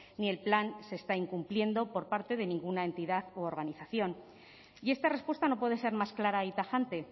ni el plan se está incumpliendo por parte de ninguna entidad u organización y esta respuesta no puede ser más clara y tajante